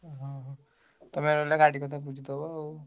ଓହୋ ତମେ ନହେଲେ ଗାଡି କଥା ବୁଝିଦବ ଆଉ।